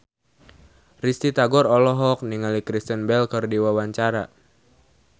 Risty Tagor olohok ningali Kristen Bell keur diwawancara